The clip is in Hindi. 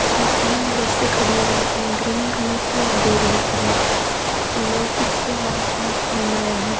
इसमें तीन बसे खड़ी है एक ग्रीन कलर की और दो रेड कलर की लोग कुछ आस पास घूम रहे है।